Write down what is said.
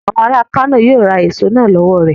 Àwọn ará Kano yíó ra èso náà lọ́wọ̀ rẹ..